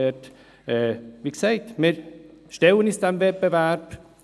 Wie gesagt, wir stellen uns diesem Wettbewerb.